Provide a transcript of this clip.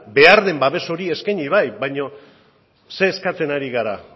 behar den babes hori eskaini bai baina zer eskatzen ari gara